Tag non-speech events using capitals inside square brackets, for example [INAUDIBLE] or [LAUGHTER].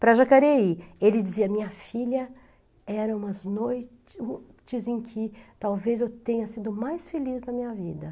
Para Jacareí, ele dizia, minha filha, eram umas noites [UNINTELLIGIBLE] em que talvez eu tenha sido mais feliz na minha vida.